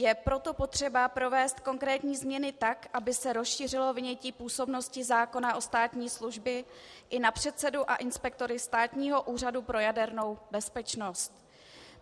Je proto potřeba provést konkrétní změny tak, aby se rozšířilo vynětí působnosti zákona o státní službě i na předsedu a inspektory Státního úřadu pro jadernou bezpečnost.